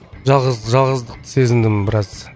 жалғыздықты сезіндім біраз